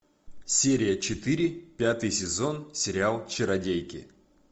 серия четыре пятый сезон сериал чародейки